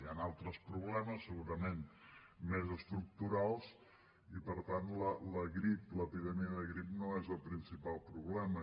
hi han altres problemes segurament més estructurals i per tant la grip l’epidèmia de grip no és el principal problema